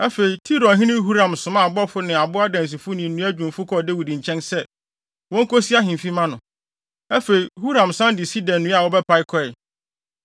Afei, Tirohene Huram somaa abɔfo ne abo adansifo ne nnua dwumfo kɔɔ Dawid nkyɛn sɛ, wonkosi ahemfi mma no. Afei, Huram san de sida nnua a wɔbɛpae kɔe.